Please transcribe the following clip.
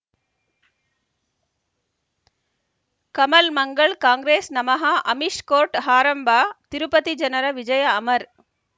ಕಮಲ್ ಮಂಗಳ್ ಕಾಂಗ್ರೆಸ್ ನಮಃ ಅಮಿಷ್ ಕೋರ್ಟ್ ಹಾರಂಭ ತಿರುಪತಿ ಜನರ ವಿಜಯ ಅಮರ್